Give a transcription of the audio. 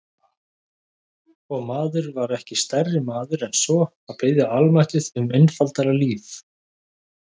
Og maður var ekki stærri maður en svo að biðja almættið um einfaldara líf.